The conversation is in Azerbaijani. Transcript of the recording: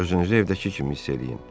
Özünüzü evdəki kimi hiss eləyin.